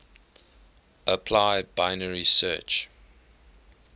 apply binary search